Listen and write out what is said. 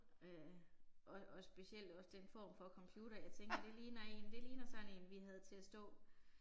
Øh og og specielt også den form for computer jeg tænkte det ligner én, det ligner sådan én vi havde til at stå